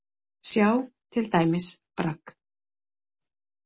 Sjá til dæmis Bragg.